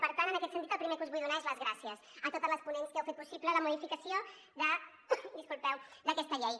per tant en aquest sentit el primer que us vull donar són les gràcies a totes les ponents que heu fet possible la modificació d’aquesta llei